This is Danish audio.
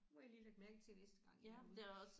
Må jeg lige lægge mærke til næste gang jeg er derude